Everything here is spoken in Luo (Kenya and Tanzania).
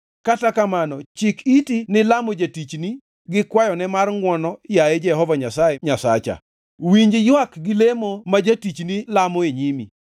Kata kamano chik iti ni lamo jatichni gi kwayone mar ngʼwono yaye Jehova Nyasaye Nyasacha. Winji ywak gi lemo ma jatichni lamo e nyimi.